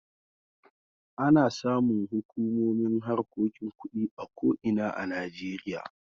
Ana samun hukumomin harkokin kuɗi a ko ina a Najeriya.